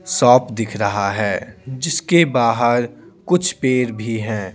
Shop दिख रहा है जिसके बाहर कुछ पैर भी हैं।